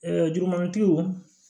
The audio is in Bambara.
jugumantigiw